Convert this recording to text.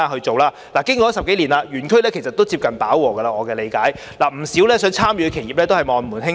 據我了解，經過10多年，園區其實已經接近飽和，不少有意參與的企業只能望門興嘆。